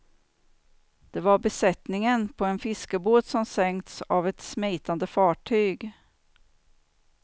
Det var besättningen på en fiskebåt som sänkts av ett smitande fartyg.